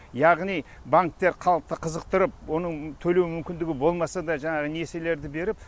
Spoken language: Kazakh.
яғни банктер халықты қызықтырып оның төлеу мүмкіндігі болмаса да жаңағы несиелерді беріп